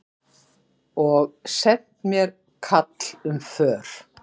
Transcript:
Og sent mér kall um för.